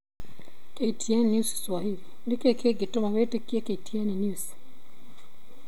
KTN News Swahili: Nĩkĩ kĩngĩtũma wĩtĩkie KTN News